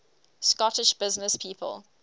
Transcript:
scottish businesspeople